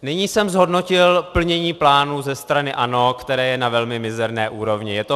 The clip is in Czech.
Nyní jsem zhodnotil plnění plánu ze strany ANO, které je na velmi mizerné úrovni.